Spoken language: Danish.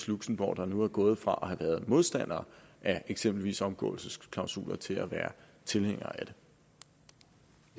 luxembourg der nu er gået fra at have været modstander af eksempelvis omgåelsesklausuler til at være tilhænger